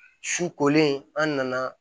Su kolen an nana